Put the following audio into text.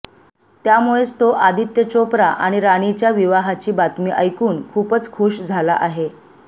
त्यामुळेच तो आदित्य चोप्रा आणि राणीच्या विवाहाची बातमी ऐकून खूपच खूष झाला आहे